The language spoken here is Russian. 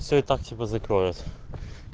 всё и так тебя закроют